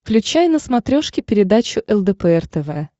включай на смотрешке передачу лдпр тв